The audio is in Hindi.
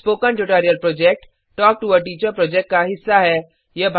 spoken tutorial project talk to a teacher project का हिस्सा है